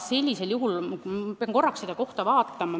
Ma pean korraks seda kohta vaatama.